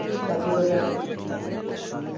ਚਾਚੀ ਕੋਲ ਗਿਆ ਸੀ